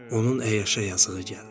Onun əyyaşa yazığı gəldi.